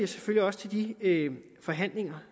selvfølgelig også til de forhandlinger